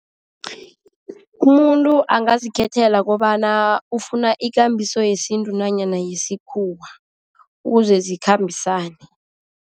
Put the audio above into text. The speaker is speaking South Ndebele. Umuntu angazikhethela kobana ufuna ikambiso yesintu nanyana yesikhuwa, ukuze zikhambisane.